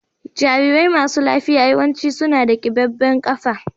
Jarirai masu lafiya yawanci suna da kiɓaɓen afa.